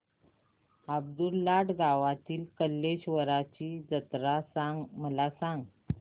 अब्दुललाट गावातील कलेश्वराची जत्रा मला सांग